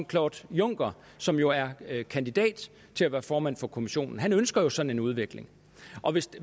claude juncker som jo er kandidat til at være formand for kommissionen ønsker sådan en udvikling